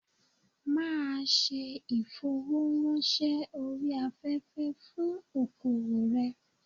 Ma a se ìfowó rán se orí afẹ́fẹ́ fún okoòwò rẹ̀